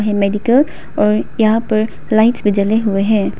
और यहां पर लाइट्स भी जले हुएं हैं।